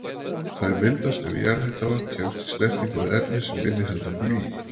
Þær myndast ef jarðhitavatn kemst í snertingu við efni sem innihalda blý.